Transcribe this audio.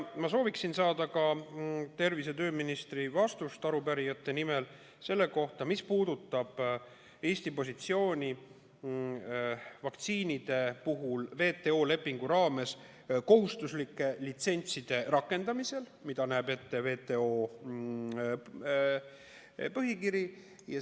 Ma sooviksin koos teiste arupärijatega saada ka tervise- ja tööministri vastust selle kohta, mis puudutab Eesti positsiooni vaktsiinide puhul WTO lepingu raames kohustuslike litsentside rakendamisel, mida näeb ette WTO põhikiri.